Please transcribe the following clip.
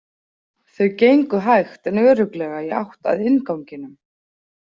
Þau gengu hægt en örugglega í átt að innganginum.